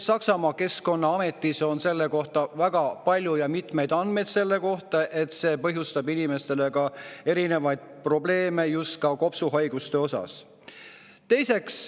Saksamaa keskkonnaametis on väga palju andmeid selle kohta, et see põhjustab inimestele erinevaid probleeme, just kopsuhaigusi.